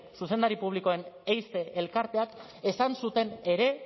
zuzendari publikoen heize elkarteak esan zuten ere